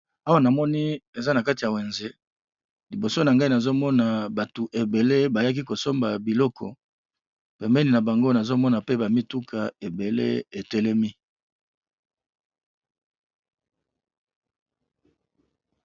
Awa nomoni eza nakati ya wenze liboso nangai nazomo batu ebele bazo somba babiloko nazomona pe ba mituka ebele etelemi pembeni